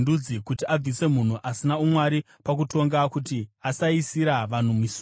kuti abvise munhu asina umwari pakutonga, kuti asaisira vanhu misungo.